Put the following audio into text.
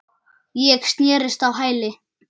Ég snerist á hæli.